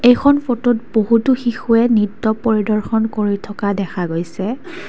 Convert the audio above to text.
এইখন ফটোত বহুতো শিশুয়ে নৃত্য পৰিদৰ্শন কৰি থকা দেখা গৈছে।